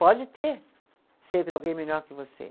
Pode ter sempre alguém melhor que você.